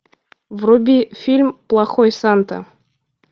вруби фильм плохой санта